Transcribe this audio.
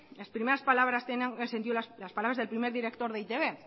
las primeras palabras tengan sentido las palabras del primero director de e i te be